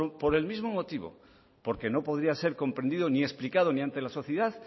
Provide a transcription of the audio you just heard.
por el mismo motivo porque no podría ser comprendido ni explicado ni ante la sociedad